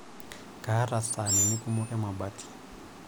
Kaata saanini kumok emabati.